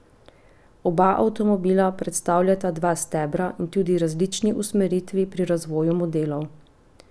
Oba avtomobila predstavljata dva stebra in tudi različni usmeritvi pri razvoju modelov.